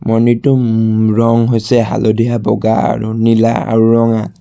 মন্দিৰটোৰ মম ৰং হৈছে হালধীয়া বগা আৰু নীলা আৰু ৰঙা।